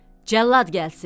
Cəllad gəlsin.